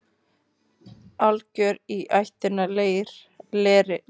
Algjör í ættinni leri.